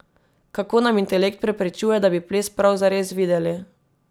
Kako nam intelekt preprečuje, da bi ples prav zares videli?